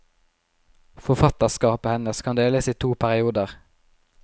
Forfatterskapet hennes kan deles i to perioder.